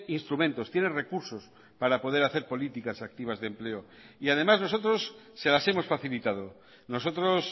instrumentos tiene recursos para poder hacer políticas activas de empleo y además nosotros se las hemos facilitado nosotros